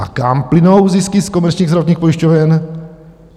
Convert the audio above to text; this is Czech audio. A kam plynou zisky z komerčních zdravotních pojišťoven?